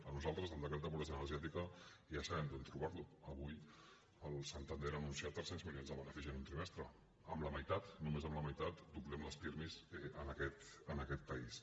nosaltres el decret de pobresa energètica ja sabem on trobarlo avui el santander ha anunciat tres cents milions de benefici en un trimestre amb la meitat només amb la meitat doblem les pirmi en aquest país